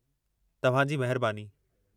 तव्हां जी महिरबानी।